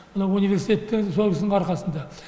мына университет те сол кісінің арқасында